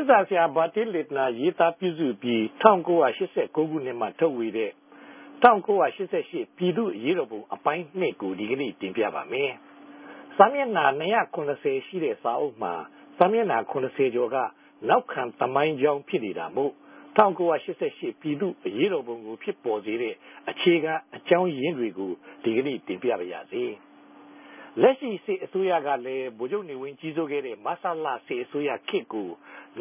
င်းစာဆရာဘာတီးလ် လင့်တနာရေးသားူပစြု္ဘပီး ၁၉၈၉ ခိုံြစ်မြာထုတ်ဝေတဲ့ ၁၉၈၈ ူပည်သူႛအရေးတော်ပုံ အပိုင်း ၂ ကို တင်ူပလိုက်ပၝတယ်။ စာမဵက် ိံြာ ၂၇၀ ရြိတဲ့စာအုပ်မြာ စာမဵကိံြာ ၇၀ ကေဵာ်က နောက်ခံသမိုင်းေုကာင်း ူဖစ်နေတာမိုႛ ၁၉၈၈ ူပည်သူႛအရေးတော်ပုံကို ူဖစ်ပေၞစေတဲ့ အေူခခံအေုကာင်းရင်းတေကြို တင်ူပပၝမယ်။ လက်ရြိစစ်အစိုးရကလည်း ဗိုလ်နေဝင်းဋ္ဌကီးစိုးခဲ့တဲ့ မဆလ စစ်အစိုးရခေတ်ကို